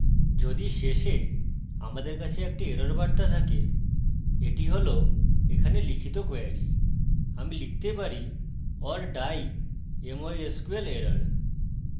যদি শেষে আমাদের কাছে একটি এরর বার্তা থাকে এটি হল এখানে লিখিত কোয়েরী আমি লিখতে পারি or die mysql error